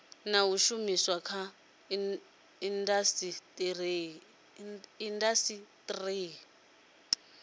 na u shumiswa kha indasiteri